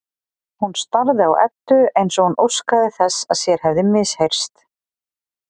Hún starði á Eddu eins og hún óskaði þess að sér hefði misheyrst.